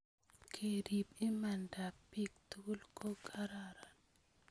kerip imaandab bi tugul ko kararan